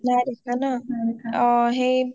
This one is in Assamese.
নাই দেখা ন